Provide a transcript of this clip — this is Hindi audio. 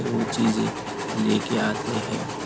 वो चीजें लेके आते हैं।